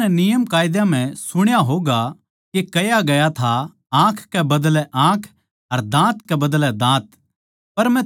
थमनै नियमकायदा म्ह सुण्या होगा के कह्या था आँख कै बदलै आँख अर दाँत कै बदलै दाँत